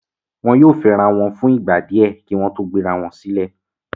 Wọn yóò fẹ́rawọn wọn fún ìgbà díẹ kí wọ́n tó gbé ara wọn silé